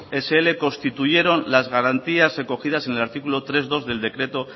scincuenta constituyeron las garantías recogidas en el artículo tres punto dos del decreto